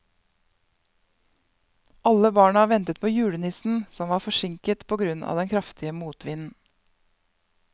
Alle barna ventet på julenissen, som var forsinket på grunn av den kraftige motvinden.